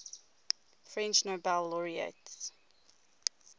french nobel laureates